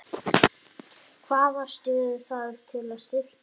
Hvaða stöður þarf að styrkja?